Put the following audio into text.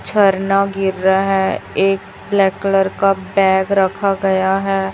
झरना गिर रहा है एक ब्लैक कलर का बैग रखा गया है।